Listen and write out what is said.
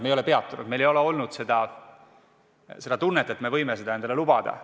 Me ei ole peatunud, meil ei ole olnud seda tunnet, et me võime seda endale lubada.